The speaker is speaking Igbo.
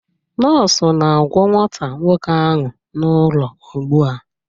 Nọọsụ na-agwọ nwata nwoke ahụ n'ụlọ ugbu a